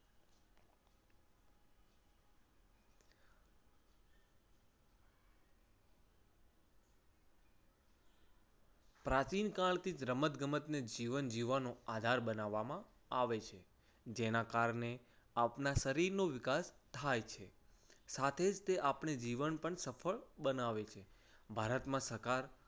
પ્રાચીન કાળથી રમતગમતને જીવન જીવવાનો આધાર બનાવવામાં આવે છે. જેના કારણે આપણા શરીરનો વિકાસ થાય છે. સાથે જ તે આપણે જીવન પણ સફળ બનાવે છે. ભારતમાં થકાર